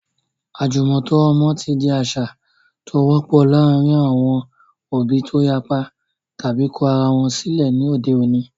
Àjùmọ̀tọ́ ọmọ ti di àṣà tó )wọ́pọ̀ láàárín àwọn òbí tó yapa tàbi kọ ara wọn sílẹ̀ ní òde òní.